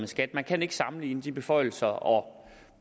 skat man kan ikke sammenligne de beføjelser og